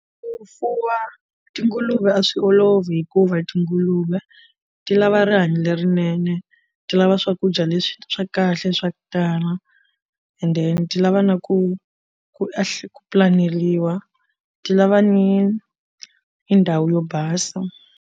Ku fuwa tinguluve a swi olovi hikuva tinguluve ti lava rihanyo lerinene ti lava swakudya leswi swa kahle swa ku tala and then ti lava na ku ku ku pulaneliwa ti lava ni ndhawu yo basa.